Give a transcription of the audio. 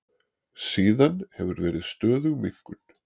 Síðan hefur verið stöðug minnkun